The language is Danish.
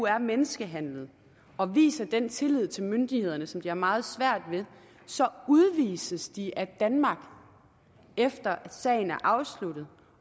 er menneskehandlet og viser den tillid til myndighederne som de har meget svært ved så udvises de af danmark efter at sagen er afsluttet